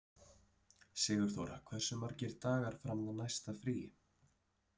Sigurþóra, hversu margir dagar fram að næsta fríi?